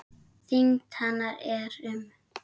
Þyngd hennar er um